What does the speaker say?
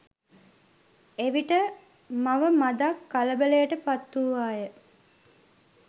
එවිට මව මදක් කලබලයට පත්වූවාය.